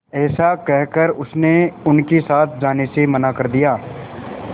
ऐसा कहकर उसने उनके साथ जाने से मना कर दिया